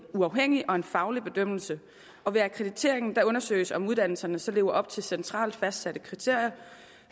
uafhængig og en faglig bedømmelse og ved akkrediteringen undersøges om uddannelserne så lever op til centralt fastsatte kriterier